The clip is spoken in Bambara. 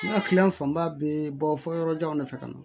N ka kiliyan fanba bɛ bɔ fɔ yɔrɔjanw de fɛ ka na